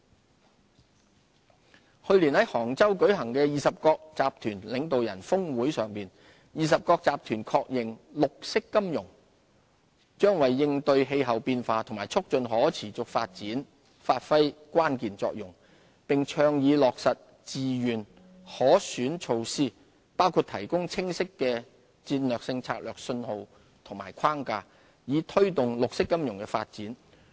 綠色金融去年在杭州舉行的二十國集團領導人峰會上，二十國集團確認綠色金融將為應對氣候變化及促進可持續發展發揮關鍵作用，並倡議落實自願可選措施，包括提供清晰的戰略性政策信號與框架，以推動綠色金融發展。